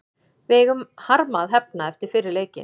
Við eigum harma að hefna eftir fyrri leikinn.